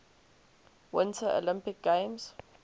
winter olympic games